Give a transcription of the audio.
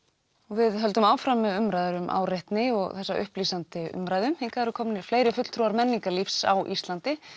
við höldum áfram með umræður um áreitni og upplýsandi umræðu hingað eru komnir fleiri fulltrúar menningarlífs á Íslandi